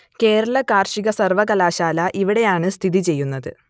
കേരള കാർഷിക സർവ്വകലാശാല ഇവിടെയാണ് സ്ഥിതിചെയ്യുന്നത്